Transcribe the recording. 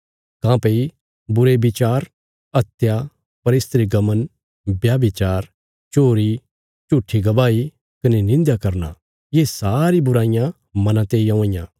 काँह्भई बुरे बिचार हत्या परस्त्रीगमन व्यभिचार चोरी झूट्ठी गवाही कने निंध्या करना ये सारी बुराईयां मना तेई औआं इयां